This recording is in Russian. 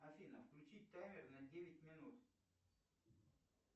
афина включи таймер на девять минут